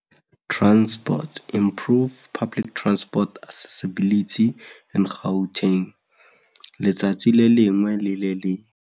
letsatsi le lengwe le le lengwe.